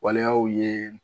Waleyaw ye